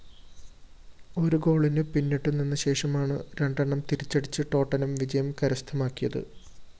ഒരു ഗോളിന് പിന്നിട്ടുനിന്നശേഷമാണ് രണ്ടെണ്ണം തിരിച്ചടിച്ച് ടോട്ടനം വിജയം കരസ്ഥമാക്കിയത്